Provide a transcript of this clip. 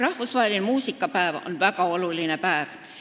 Rahvusvaheline muusikapäev on väga oluline päev.